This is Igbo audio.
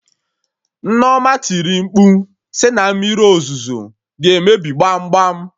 Nneoma tiri mkpu sị na Mmiri ozuzo ga emebi gbam gbam!